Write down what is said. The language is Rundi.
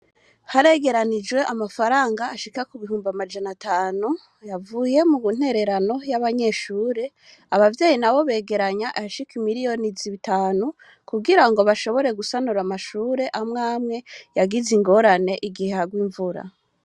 Haregeranijwe amafaranga ashika ku bihumbi amajana atanu yavuye mu ntererano y'amashuri abavyeyi nabo begeranya ayashika imiriyoni zitanu kugira bashobore gusanura amashuri amwamwe yagize ingorane igihe harwa imvura.